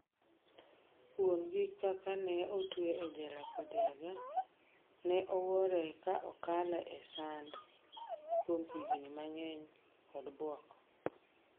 wuon'gi ka kane otue e jela kodiaga, ne oowore ka okale sand kuom higni mang'eny kod buok